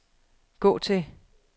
gå til